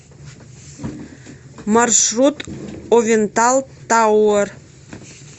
маршрут овентал тауэр